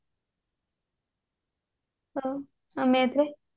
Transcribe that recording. ହଉ ଆଉ math ରେ